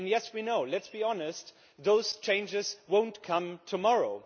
And yes, we know let us be honest that those changes will not come tomorrow.